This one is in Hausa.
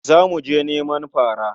Za mu je neman fara.